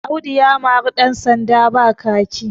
Audu ya mari ɗansanda ba kaki